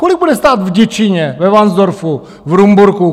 Kolik bude stát v Děčíně, ve Varnsdorfu, v Rumburku?